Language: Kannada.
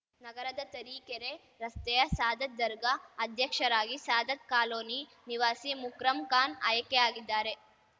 ನಗರದ ತರೀಕೆರೆ ರಸ್ತೆಯ ಸಾದತ್‌ ದರ್ಗ ಅಧ್ಯಕ್ಷರಾಗಿ ಸಾದತ್‌ ಕಾಲೋನಿ ನಿವಾಸಿ ಮುಕ್ರಂ ಖಾನ್‌ ಆಯ್ಕೆಯಾಗಿದ್ದಾರೆ